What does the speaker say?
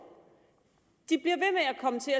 til